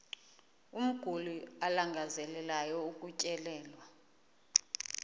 umguli alangazelelayo ukutyelelwa